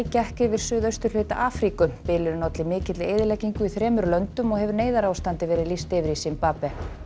gekk yfir suðausturhluta Afríku bylurinn olli mikilli eyðileggingu í þremur löndum og hefur neyðarástandi verið lýst yfir í Simbabve